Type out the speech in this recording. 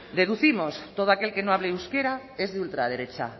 deducimos todo aquel que no hable euskera es de ultraderecha